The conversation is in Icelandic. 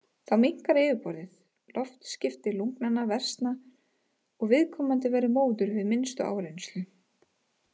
Þá minnkar yfirborðið, loftskipti lungnanna versna og viðkomandi verður móður við minnstu áreynslu.